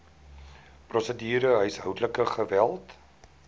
prosedure huishoudelike geweld